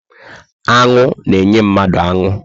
Aṅụ na enye mmanụ aṅụ